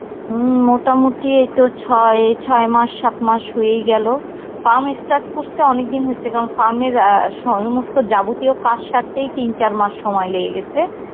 উম মোটামুটি এইতো ছয়, ছয় মাস সাত মাস হয়েই গেল. farm start করসে অনেকদিন হইসে কারণ farm এর আ সমস্ত যাবতীয় কাজ সারতেই তিন চার মাস সময় লেগে গেসে.